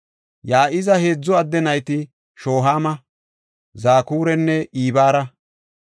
Ya7iza heedzu adde nayti Shohaama, Zakuranne Ibara.